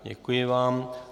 Děkuji vám.